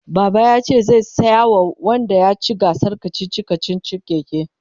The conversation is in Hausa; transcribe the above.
baba yace zai saya wa wanda yaci gasar kachichi kachichin keke